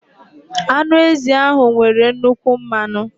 Anụ ezi ahụ nwere nnukwu mmanụ.